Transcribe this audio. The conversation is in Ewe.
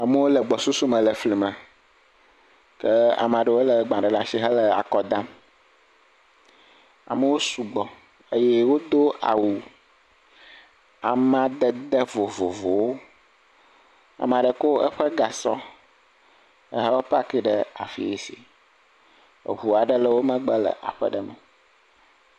Amewo le gbɔsusu me le fli me, ke ame aɖewo lé agbalẽ ɖe asi le akɔ dam amewo sugbɔ eye wodo awu amadede vovovowo ame aɖe kɔ eƒe gasɔ va pake ɖe afi si, eŋu aɖewo le wo megbe le aƒe aɖe me.